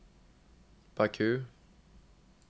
Baku